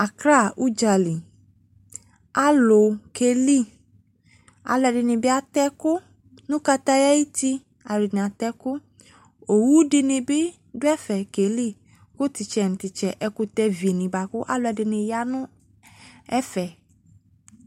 Accra udzaki, alu keli Alɛde ne be atɛ ɛku no kataya ayeti, atana atɛ ɛku Owu de ne be do ɛfɛ keli ko tetsɛ no tetsɛ, ɛkutɛvi ne boako alɔde ne ya no ɛfɛ